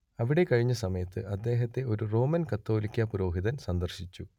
അവിടെ കഴിഞ്ഞ സമയത്ത് അദ്ദേഹത്തെ ഒരു റോമൻ കത്തോലിക്കാ പുരോഹിതൻ സന്ദർശിച്ചു